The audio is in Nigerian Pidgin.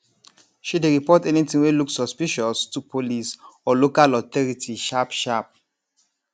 she dey report anything wey look suspicious to police or local authority sharpsharp